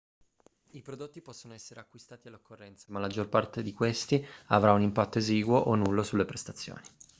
i prodotti possono essere acquistati all'occorrenza ma la maggior parte di questi avrà un impatto esiguo o nullo sulle prestazioni